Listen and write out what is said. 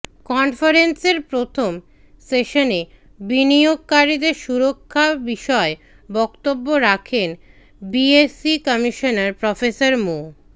কনফারেন্সের প্রথম সেশনে বিনিয়োগকারীদের সুরক্ষা বিষয়ে বক্তব্য রাখেন বিএসইসি কমিশনার প্রফেসর মো